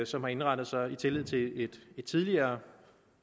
som har indrettet sig i tillid til et tidligere